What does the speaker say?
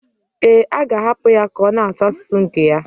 Ee, a ga-ahapụ ya ka ọ na-asụ asụsụ nke ya?